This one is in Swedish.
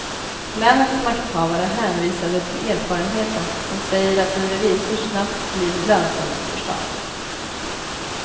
Länets makthavare hänvisade till erfarenheten, som säger att en revisor snabbt blir lönsam för staten.